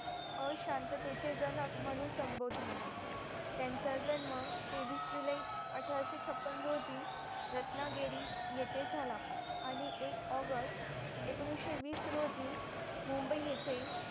अशांततेचे चे जनक म्हणून सम्भोधले त्यांचा जन्म तेवीस जुलै अठराशें छप्पन रोजी रत्नागिरी येते झाला आणि एक ऑगस्ट एकोणीसशे वीस रोजी मुंबई येते